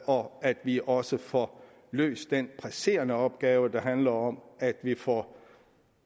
og at vi også får løst den presserende opgave der handler om at vi får